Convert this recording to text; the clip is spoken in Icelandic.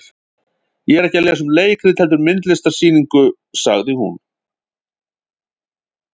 Ég er ekki að lesa um leikrit heldur myndlistarsýningu, sagði hún.